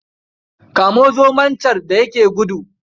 Kamo zomo can da ya yake gudu.